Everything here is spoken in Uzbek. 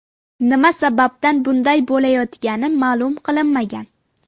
Nima sababdan bunday bo‘layotgani ma’lum qilinmagan.